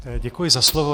Děkuji za slovo.